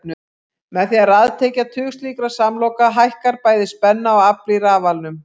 Með því að raðtengja tug slíkra samloka hækkar bæði spenna og afl í rafalanum.